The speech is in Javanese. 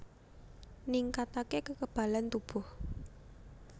Ningkatake kekebalan tubuh